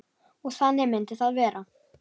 Og þannig myndi það vera.